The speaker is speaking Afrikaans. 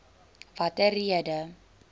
watter rede